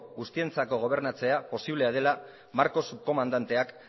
guztientzako gobernatzea posiblea dela marcos subkomandanteak